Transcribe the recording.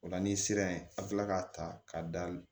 O la n'i sera yen a bɛ tila k'a ta ka da